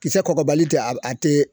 Kisɛ kɔgɔbali tɛ a tɛ